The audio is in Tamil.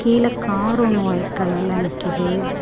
கீழ காரொன்னு ஒயிட் கலர்ல நிக்கிது.